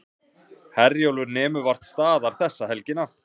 Herjólfur nemur vart staðar þessa helgina